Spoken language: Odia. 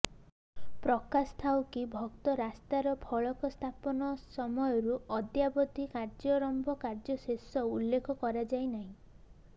ପ୍ରକାଶଥାଉକି ଉକ୍ତ ରାସ୍ତାର ଫଳକ ସ୍ଥାପନ ସମୟରୁ ଅଦ୍ୟାବଧି କାର୍ଯ୍ୟାରମ୍ଭ କାର୍ଯ୍ୟଶେଷ ଉଲ୍ଲେଖ କରାଯାଇନାହିଁ